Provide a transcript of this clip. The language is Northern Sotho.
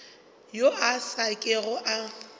yo a sa kego a